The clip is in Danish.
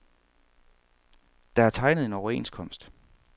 Der er tegnet en overenskomst.